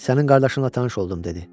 Sənin qardaşınla tanış oldum dedi.